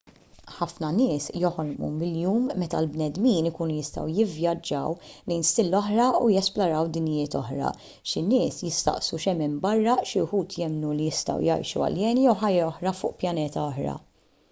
ħafna nies joħolmu bil-jum meta l-bnedmin ikunu jistgħu jivvjaġġaw lejn stilla oħra u jesploraw dinjiet oħra xi nies jistaqsu x'hemm hemm barra xi wħud jemmnu li jistgħu jgħixu aljeni jew ħajja oħra fuq pjaneta oħra